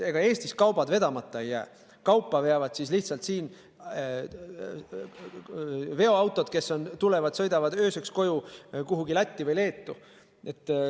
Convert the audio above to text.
Ega Eestis kaubad vedamata ei jää, kaupa veavad siin siis lihtsalt veoautod, kes sõidavad ööseks koju kuhugi Lätti või Leetu.